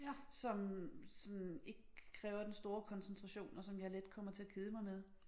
Som som ikke kræver den store koncentration og som jeg let kommer til at kede mig med